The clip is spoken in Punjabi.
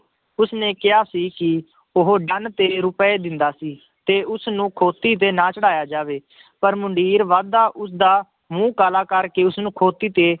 ਉਸਨੇ ਕਿਹਾ ਸੀ ਕਿ ਉਹ ਤੇਰੇ ਰੁਪਏ ਦਿੰਦਾ ਸੀ ਤੇ ਉਸਨੂੰ ਖੋਤੀ ਤੇ ਨਾ ਚੜ੍ਹਾਇਆ ਜਾਵੇ ਪਰ ਮੁੰਡੀਰ ਵੱਧਦਾ ਉਸਦਾ ਮੂੰਹ ਕਾਲਾ ਕਰਕੇ ਉਸਨੂੰ ਖੋਤੀ ਤੇ,